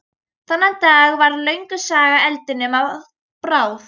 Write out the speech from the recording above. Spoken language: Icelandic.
Þennan dag varð löng saga eldinum að bráð.